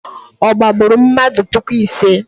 Ọ gbagburu mmadụ puku ise?